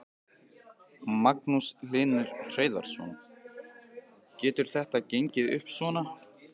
Magnús Hlynur Hreiðarsson: Getur þetta gengið upp svona?